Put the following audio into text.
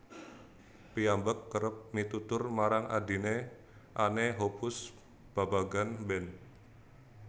Piyambak kérép mitutur marang adhine Anne Hoppus babagan band